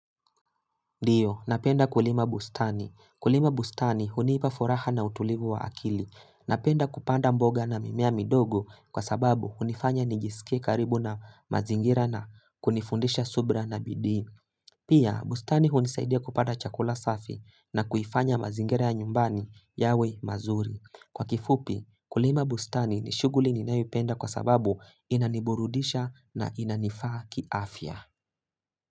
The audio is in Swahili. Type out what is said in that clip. Ndiyo napenda kulima bustani kulima bustani hunipa furaha na utulivu wa akili napenda kupanda mboga na mimea midogo kwa sababu hunifanya nijiskie karibu na mazingira na kunifundisha subira na bidii. Pia, bustani hunisaidia kupata chakula safi na kuifanya mazingira ya nyumbani yawe mazuri. Kwa kifupi, kulima bustani ni shughuli ninayoipenda kwa sababu inaniburudisha na inanifaa kiafya.